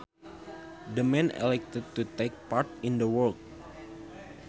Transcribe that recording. The man elected to take part in the work